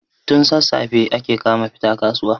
tun sassafe ake kama fita kasuwa